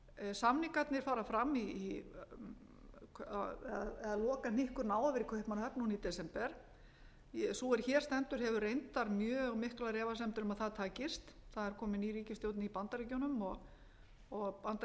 samningarnir fara fram eða lokahnykkurinn á að vera í kaupmannahöfn núna í desember sú er hér stendur hefur reyndar mjög miklar efasemdir um að það takist það er komin ný ríkisstjórn í bandaríkjunum og forseti